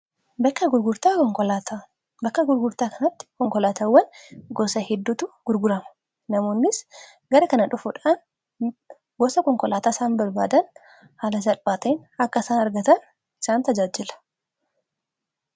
bakka gurgurtaa kanaatti konkolaatawwan gosa heddutu gurgurama namoonnis gara kana dhufuudhaan gosa konkolaataa isaan barbaadan haala salphaateen akkaisaan argatan isaan tajaajila